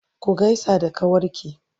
ku gaisa da kawarki!